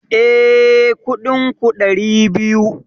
Eh, Kuɗin ku ɗari biyu